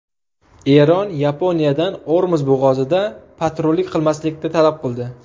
Eron Yaponiyadan Ormuz bo‘g‘ozida patrullik qilmaslikni talab qildi.